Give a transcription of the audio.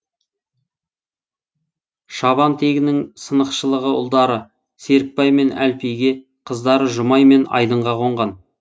шабантегінің сынықшылығы ұлдары серікбай мен әлпиге қыздары жұмай мен айдынға қонған